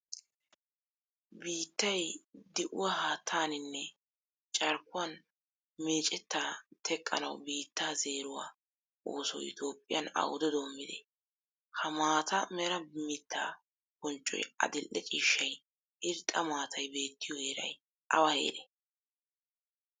Biittay di"uwaa haattaninne carkkuwan meccetta teqqanawu biitta zeeruwaa oosoy toophphiyan awude dommide? Ha maataa mera miitta bonccoy adil"e ciishshay irxxa maatay beettiyo heeray awa heere?